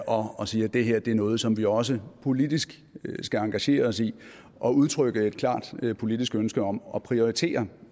og og siger at det her er noget som vi også politisk skal engagere os i og udtrykke et klart politisk ønske om at prioritere